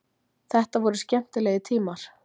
Þetta voru skemmtilegir tímar.